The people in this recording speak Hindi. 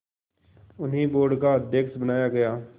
उन्हें बोर्ड का अध्यक्ष बनाया गया